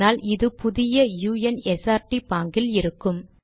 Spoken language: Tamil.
ஆனால் இது புதிய u n s r t பாங்கில் இருக்கும்